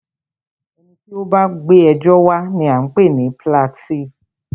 Ẹni tí o bá gbé ẹjọ́ wa ní a ń pé ní píláǹtìífú.